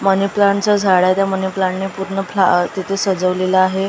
मनी plant चं झाड आहे त्या प्लांट ने पूर्ण तिथे सजवलेलं आहे.